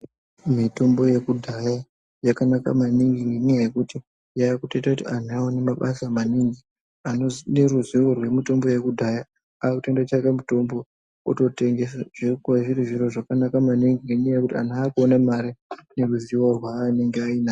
Mitombo yekudhaya yakanaka maningi ngenyaya yekuti yakutoita kuti antu awane mabasa maningi anode ruziwo rwemitombo yekudhaya akutondotsvage mitombo ototengesa zvinoka zviri zViro zvakanaka maningi ngenyaya yekuti anyh akuone mare ngenyaya yeruziwo rwainenge ainarwo